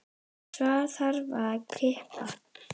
Svo þarf að kippa.